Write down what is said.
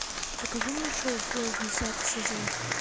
покажи мне шоу флэш десятый сезон